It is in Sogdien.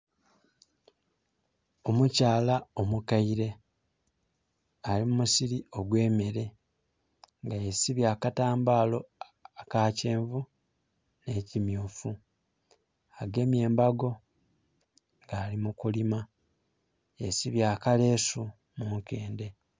Omukyaala omukaile ali mu musiri ogwemere nga yesibye akatambala akakyenvu n'ekimyufu agemye embago nga ali mukulima, yesibye akalesu munkende.